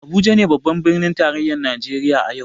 Abuja ne babban birnin tarayyar Najeriya a yau.